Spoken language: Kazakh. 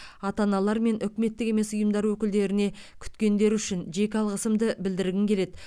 ата аналар мен үкіметтік емес ұйымдар өкілдеріне күткендері үшін жеке алғысымды білдіргім келеді